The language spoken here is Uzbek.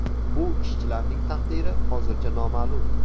Bu ishchilarning taqdiri hozircha noma’lum.